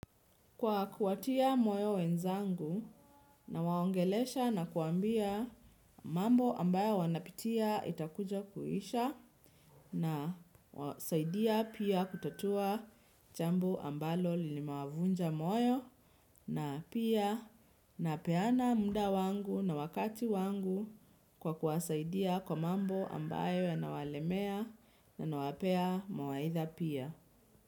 Kwa kuwatia moyo wenzangu na waongelesha na kuambia mambo ambayo wanapitia itakuja kuisha na wasaidia pia kutatua jambo ambalo lilimewavunja moyo na pia napeana mda wangu na wakati wangu kwa kuwasaidia kwa mambo ambayo ya nawalemea na nawapea mawaitha pia.